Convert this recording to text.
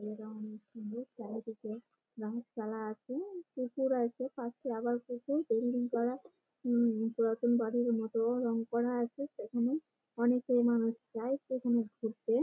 এটা অনেক সুন্দর চারিদিকে রং চালা আছে পুকুর আছে পাশে আবার পুকুর বিল্ডিং করা উম পুরাতন বাড়ির মতো-ও রং করা আছে। এখানে অনেকে মানুষ যায় পিকনিক ঘুরতে--